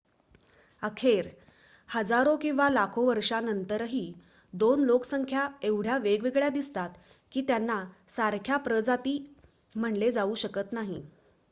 अखेर हजारो किंवा लाखो वर्षांनंतरही दोन लोकसंख्या एवढ्या वेगळ्या दिसतात की त्यांना सारख्या प्रजाती म्हटले जाऊ शकत नाही